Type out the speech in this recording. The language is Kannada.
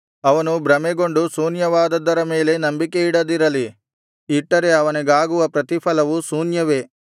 ಅವನು ಭ್ರಮೆಗೊಂಡು ಶೂನ್ಯವಾದದ್ದರ ಮೇಲೆ ನಂಬಿಕೆಯಿಡದಿರಲಿ ಇಟ್ಟರೆ ಅವನಿಗಾಗುವ ಪ್ರತಿಫಲವು ಶೂನ್ಯವೇ